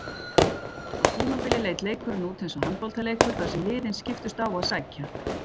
Á tímabili leit leikurinn út eins og handboltaleikur þar sem liðin skiptust á að sækja.